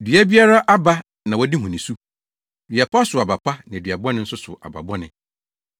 “Dua biara aba na wɔde hu ne su. Dua pa sow aba pa na dua bɔne nso sow aba bɔne.